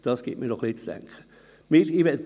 Das gibt mir auch ein wenig zu denken.